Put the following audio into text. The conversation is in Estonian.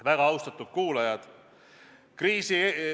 Väga austatud kuulajad!